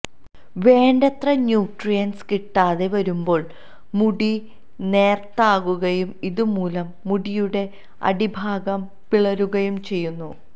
വേണ്ടത്ര ന്യൂട്രിയൻസ് കിട്ടാതെ വരുമ്പോൾ മുടി നേർത്തതാകുകയും ഇതു മൂലം മുടിയുടെ അടിഭാഗം പിളരുകയും ചെയ്യുന്നു